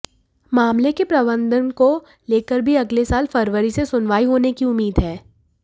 मामले के प्रबंधन को लेकर भी अगले साल फरवरी से सुनवाई होने की उम्मीद है